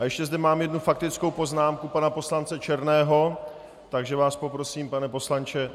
A ještě zde mám jednu faktickou poznámku pana poslance Černého, takže vás poprosím, pane poslanče...